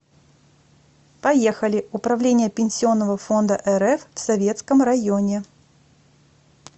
поехали управление пенсионного фонда рф в советском районе